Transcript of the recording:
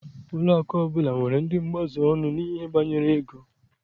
Ụlọakụ ọbụla nwere ndị mgbaziọnụ n'ihe banyere ego.